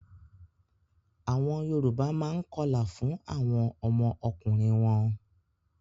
Àwọn Yorùbá máa ń kọlà fún àwọn ọmọ ọkùnrin wọ́n.